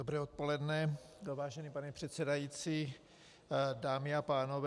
Dobré odpoledne, vážený pane předsedající, dámy a pánové.